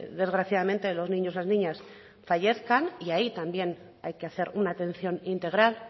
desgraciadamente los niños las niñas fallezcan y ahí también hay que hacer una atención integral